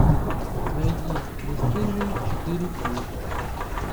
найди бесстыжие четыре кей